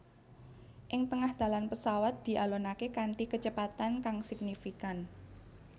Ing tengah dalan pesawat dialonaké kanthi kecepatan kang signifikan